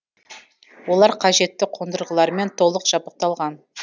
олар қажетті қондырғылармен толық жабдықталған